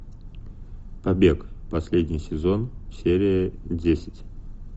побег последний сезон серия десять